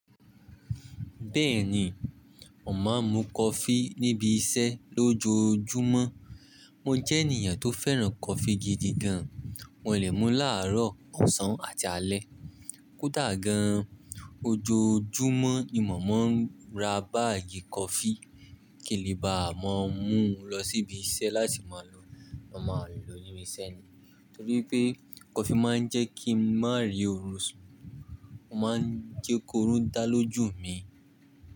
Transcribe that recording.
Bẹ́ẹ̀ni, mo ma mú coffee níbi iṣẹ́ lójoojúmọ́. Mo jẹ́ ènìyàn tó fẹ́ràn coffee gidi gan. Mo lè mú láàárọ̀, ọ̀sán àti alẹ́. Kú dà gan, ojoojúmọ́ ni mò mọ̀ ń ra báàgì coffee kèlebà, màá mú lọ sí ibi iṣẹ́ láti máa lò. Mo máa lò níbi iṣẹ́ ni. Nítorí pé coffee máa ń jẹ́ kí n má rí orun ṣun. Ó máa ń jẹ́ korun dá lójú mi.